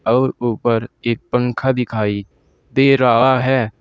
और ऊपर एक पंखा दिखाई दे रहा है।